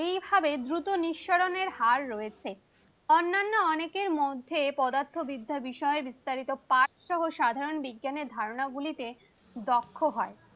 এভাবে দ্রুত নিঃসরণের হার রয়েছে। অন্যান্য অনেকের মধ্যে পদার্থবিদ্যা বিষয়ে বিস্তারিত পাঠ সহ সাধারণ বিজ্ঞানের ধারণা গুলিতে দক্ষ হয়।